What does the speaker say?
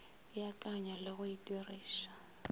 beakanya le go e diriša